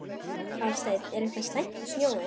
Hafsteinn: Er eitthvað slæmt við snjóinn?